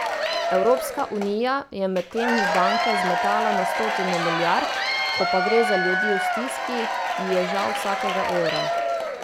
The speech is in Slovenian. Evropska unija je medtem v banke zmetala na stotine milijard, ko pa gre za ljudi v stiski, ji je žal vsakega evra.